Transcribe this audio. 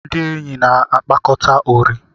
Ndị enyi na-akpakọta ụrị